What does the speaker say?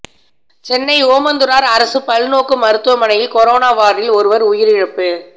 சென்னை ஓமந்தூரார் அரசு பல்நோக்கு மருத்துவமனையில் கொரோனா வார்டில் ஒருவர் உயிரிழப்பு